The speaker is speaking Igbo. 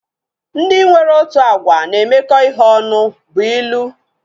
Ndị nwere otu agwa na-emekọ ihe ọnụ bụ ilu